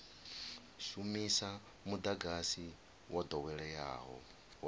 shumisa mudagasi wo doweleaho wa